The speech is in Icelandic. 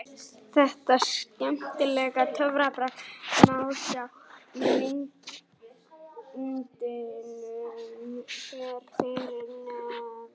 Þetta skemmtilega töfrabragð má sjá í myndbandinu hér fyrir neðan: